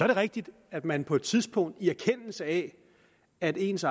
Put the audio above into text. det rigtigt at man på et tidspunkt i erkendelse af at ens